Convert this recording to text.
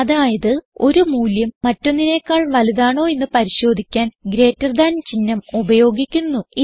അതായത് ഒരു മൂല്യം മറ്റൊന്നിനേക്കാൾ വലുതാണോ എന്ന് പരിശോധിക്കുവാൻ ഗ്രീറ്റർ താൻ ചിഹ്നം ഉപയോഗിക്കുന്നു